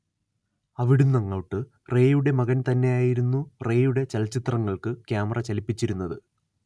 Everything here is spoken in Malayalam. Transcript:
അവിടുന്നങ്ങോട്ട് റേയുടെ മകൻ തന്നെയായിരുന്നു റേയുടെ ചലച്ചിത്രങ്ങൾക്ക് ക്യാമറ ചലിപ്പിച്ചിരുന്നത്